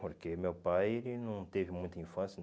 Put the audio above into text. Porque meu pai ele não teve muita infância, né?